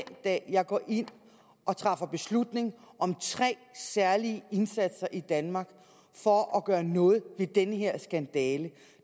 dag jeg går ind og træffer beslutning om tre særlige indsatser i danmark for at gøre noget ved den her skandale